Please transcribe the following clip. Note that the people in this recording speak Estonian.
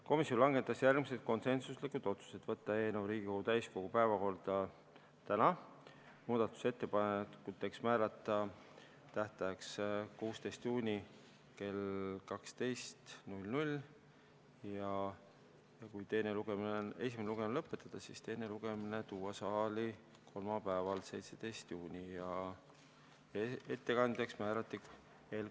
Komisjon langetas järgmised konsensuslikud otsused: võtta eelnõu Riigikogu täiskogu päevakorda täna, muudatusettepanekute esitamise tähtajaks määrata 16. juuni kell 12 ja kui esimene lugemine lõpetatakse, siis teiseks lugemiseks tuua eelnõu saali kolmapäeval, 17. juunil, ja ettekandjaks määrati siinkõneleja.